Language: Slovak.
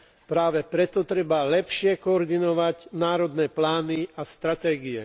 Práve preto treba lepšie koordinovať národné plány a stratégie.